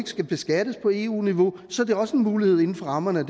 skal beskattes på eu niveau så er det også en mulighed inden for rammerne af